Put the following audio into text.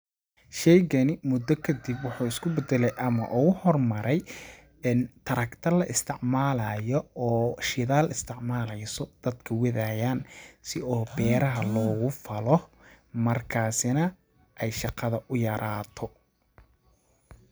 Sheygani mudda kadib waxuu isku badale ama uu uhor maray tarakta la isticmaalayo oo shidaal isticmaleyso ,dadka wadayaan si oo beeraha loo falo markaasi na ay shaqada u yaraato .